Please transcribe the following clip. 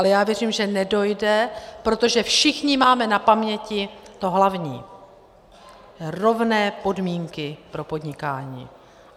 Ale já věřím, že nedojde, protože všichni máme na paměti to hlavní - rovné podmínky pro podnikání.